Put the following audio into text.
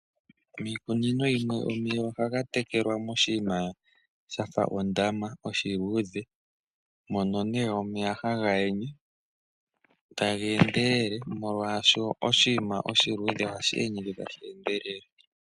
Miikunino yimwe omeya ohaga tekelwa moshinima shafa ondama oshiluudhe mono nee omeya haga yenye taga endelele molwaashoka oshinima oshiluudhe ohashi yenyeke tashi endelele.